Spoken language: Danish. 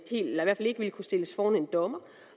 ville kunne stilles foran en dommer